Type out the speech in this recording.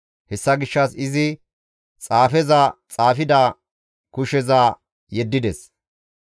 Hessa gishshas izi xaafeza xaafida kusheza yeddides.